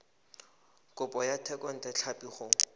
kopo ya thekontle tlhapi go